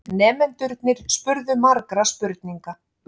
Nemendurnir spurðu margra spurninga.